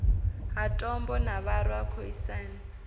ha tombo ha vharwa khoisan